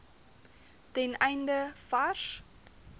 ten einde vars